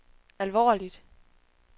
alvorligt